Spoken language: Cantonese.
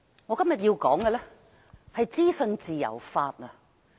我今天要說的是資訊自由法。